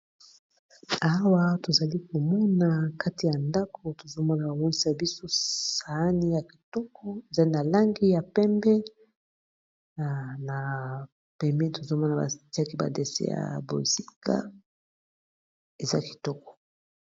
Awa tozali komona kati ya ndako tozomona bawonsa biso sani ya kitoko ezali na langi ya pembe na pembeni tozomona batiaki ba dessin ya bonzinga eza kitoko.